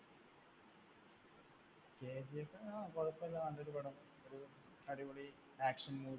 കെജിഎഫ് ങ്ഹാ കുഴപ്പമില്ല. നല്ലൊരു പടം. ഒരു അടിപൊളി action movie